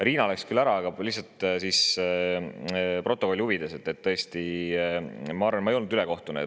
Riina läks küll ära, aga ma lihtsalt protokolli huvides, et ma tõesti arvan, et ma ei olnud ülekohtune.